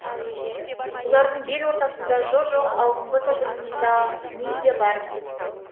бұлардың бел ортасында жо жоқ алдыңғы тобында мен де бармын